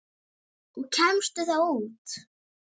Og kemstu þá út?